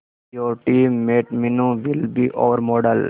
your team mate Meenu will be our model